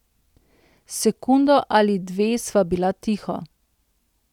Sekundo ali dve sva bila tiho.